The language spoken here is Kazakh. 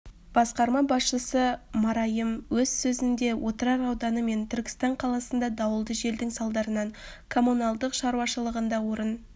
басқарма басшысы марайым өз сөзінде отырар ауданы мен түркістан қаласында дауылды желдің салдарынан коммуналдық шаруашылығында орын